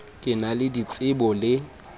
di na le ditsebo le